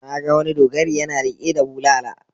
Na ga wani dogari yana riƙe da bulala.